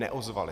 Neozvali.